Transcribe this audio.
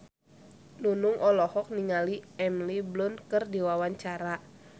Nunung olohok ningali Emily Blunt keur diwawancara